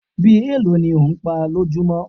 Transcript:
Bí èlò ní ò ń pá lójumo?